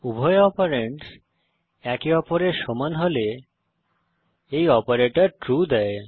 উভয় অপারেন্ডস একে অপরের সমান হলে এই অপারেটর ট্রু দেয়